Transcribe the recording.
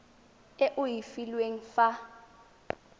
e o e filweng fa